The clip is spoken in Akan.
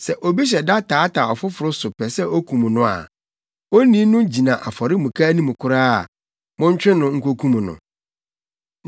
Sɛ obi hyɛ da taataa ɔfoforo so pɛ sɛ okum no a, onii no gyina afɔremuka anim koraa a, montwe no nkokum no.